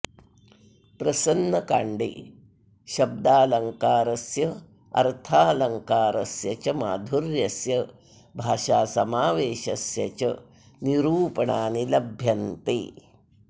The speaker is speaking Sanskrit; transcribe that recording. प्रसन्नकाण्डे शब्दालङ्कारस्य अर्थालङ्कारस्य माधुर्यस्य भाषासमावेशस्य च निरूपणानि लभ्यन्ते